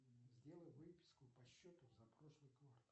сделай выписку по счету за прошлый квартал